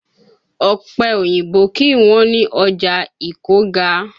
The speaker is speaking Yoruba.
Ọ̀pẹ oyìnbó kì í wọ́n ní ọ̀já Ìkọ́ga.